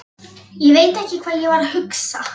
Ég veit ekki hvað ég var að hugsa.